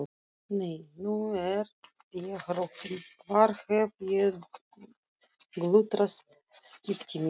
Nei, nú er ég rokin, hvar hef ég glutrað skiptimiðanum?